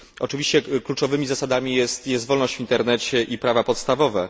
Oczywiście kluczowymi zasadami jest wolność w internecie i prawa podstawowe.